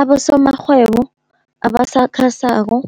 abosomarhwebo abasakhasako